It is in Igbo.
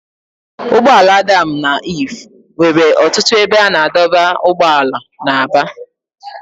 Ụgbọ ala Adam na Iv nwere ọtụtụ ebe a na-adọba ụgbọala na Aba